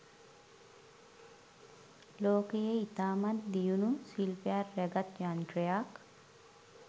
ලෝකයේ ඉතාමත් දියුණු ශිලපයක් රැගත් යන්ත්‍රයක්